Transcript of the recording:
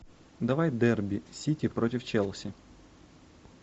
давай дерби сити против челси